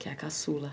Que é a caçula.